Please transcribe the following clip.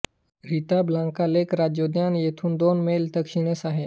रिता Blanca lake राज्योद्यान येथून दोन मैल दक्षिणेस आहे